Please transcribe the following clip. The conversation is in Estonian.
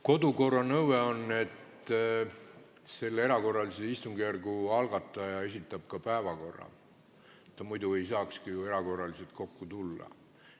Kodukorra nõue on, et erakorralise istungjärgu algataja esitab ka päevakorra, muidu ei saakski ju erakorraliselt kokku tulla.